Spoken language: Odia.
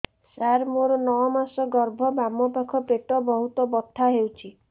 ସାର ମୋର ନଅ ମାସ ଗର୍ଭ ବାମପାଖ ପେଟ ବହୁତ ବଥା ହଉଚି